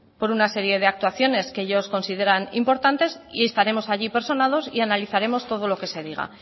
por una serie de actuaciones que ellos consideran importantes y estaremos allí personados y analizaremos todo lo que se diga